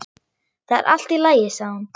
Það er allt í lagi sagði hún.